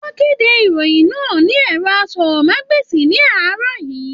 Wọn kede ìròyìn náà lórí ẹrọ àsọ̀rọ̀mágbèsi ní àárọ̀ yìí.